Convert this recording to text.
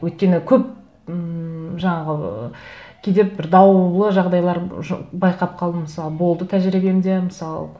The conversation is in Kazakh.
өйткені көп ммм жаңағы кейде бір даулы жағдайлар байқап қалдым мысалы болды тәжірибемде мысалы